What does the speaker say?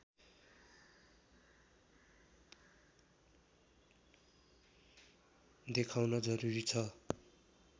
देखाउन जरूरी छ